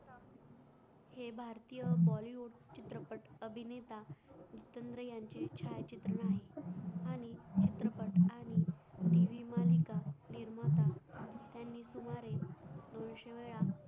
हे भारतीय bollywood चित्रपट अभिनेता जितेंद्र याचे छाया चित्रपट आणि tv मालिका निर्माता यांनी सुमारे दोनशे वेळा